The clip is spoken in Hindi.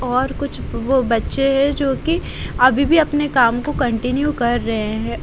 और कुछ वो बच्चे हैं जो कि अभी भी अपने काम को कंटिन्यू कर रहे हैं।